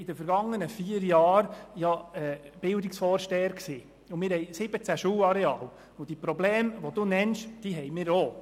In den vergangenen vier Jahren war ich Bildungsvorsteher, und wir haben 17 Schulareale und haben die von Grossrätin Hebeisen genannten Probleme ebenfalls.